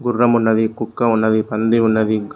గుర్రమున్నది ఉన్నవి కుక్క ఉన్నవి పంది ఉన్నవి.